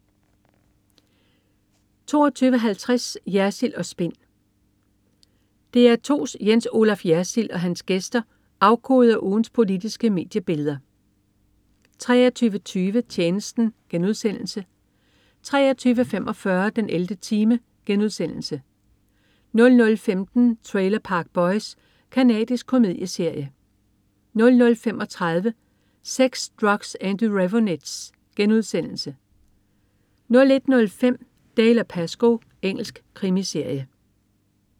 22.50 Jersild & Spin. DR2's Jens Olaf Jersild og hans gæster afkoder ugens politiske mediebilleder 23.20 Tjenesten* 23.45 den 11. time* 00.15 Trailer Park Boys. Canadisk komedieserie 00.35 Sex, Drugs & The Raveonettes* 01.05 Dalziel & Pascoe. Engelsk krimiserie